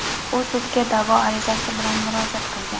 U sudga da’vo arizasi bilan murojaat qilgan.